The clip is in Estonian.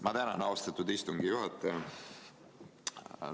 Ma tänan, austatud istungi juhataja!